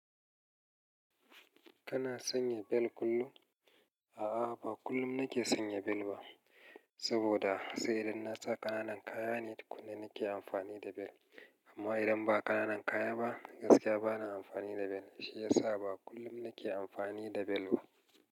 Kana sanya bel kullum? A'a, ba kullum nake sanya bel ba. Saboda sai idan na sa ƙananan kaya ne, tukun na nake amfani da belt amma idan ba ƙananan kaya ba, gaskiya bana amfani da bel. Shi ya sa ba kullum nake amfani da belt ba.